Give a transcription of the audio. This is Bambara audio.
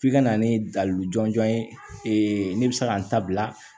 F'i ka na ni dalu jɔnjɔn ye ne bɛ se ka n ta bila